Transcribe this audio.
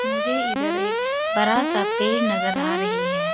मुझे इधर एक बड़ा सा पेड़ नज़र आ रही है।